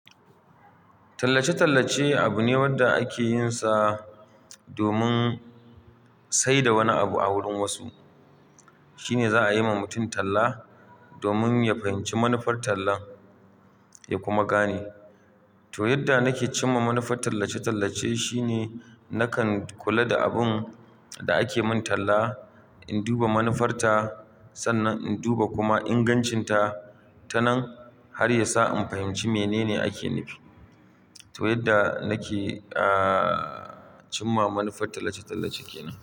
Tallace-tallace abune wanda ake yinsa domin saida wani abu a wurin wasu. Shine za'a yiwa mutum talla, domin ya fahimci manufar tallan ya kuma gane. To, yadda nake cimma manufar tallace-tallace shine nakan kulada abun da ake min talla, in duba manufarta sannan in duba kuma ingancinta tanan har yasa in fahimci menene ake nufi. To, yadda nake, aah, cimma manufar tallace-tallace kenan.